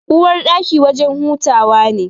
Uwarɗaki wajen hutawa ne.